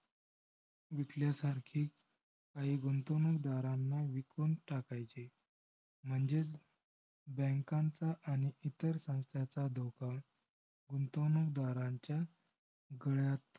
विकल्यासारखी काही गुंतवणूकदारांना विकून टाकायचे. म्हणजेच bank चा आणि इतर संस्थांचा धोका गुंतवणूकदारांच्या गळ्यात